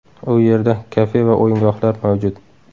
U yerda kafe va o‘yingohlar mavjud.